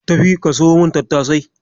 Tafi ka siyo mun tattasai.